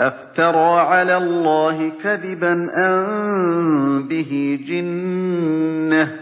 أَفْتَرَىٰ عَلَى اللَّهِ كَذِبًا أَم بِهِ جِنَّةٌ ۗ